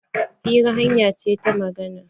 Hira hanya ce ta magana.